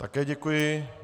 Také děkuji.